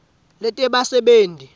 letebasebenti